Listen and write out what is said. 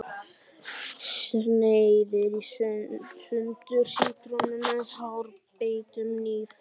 Sneiðir í sundur sítrónu með hárbeittum hníf.